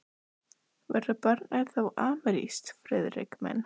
Verður barnið þá amerískt, Friðrik minn?